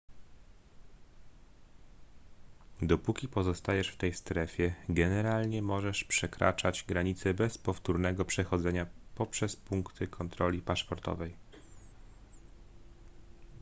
dopóki pozostajesz w tej strefie generalnie możesz przekraczać granice bez powtórnego przechodzenia poprzez punkty kontroli paszportowej